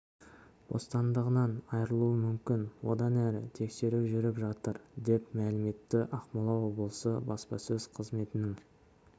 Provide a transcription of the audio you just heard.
бостандығынан айырылуы мүмкін одан әрі тексеру жүріп жатыр деп мәлім етті ақмола облысы баспасөз қызметінің